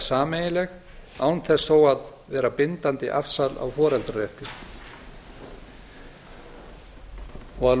sameiginleg án þess þó að vera bindandi afsal á foreldrarétti að